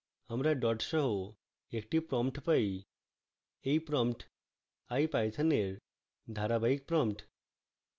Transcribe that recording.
আমরা dots সহ একটি prompt পাই